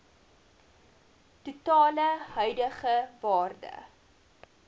totale huidige waarde